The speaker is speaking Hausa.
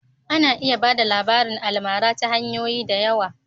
A na iya ba da labarin almara ta hanyoyi da yawa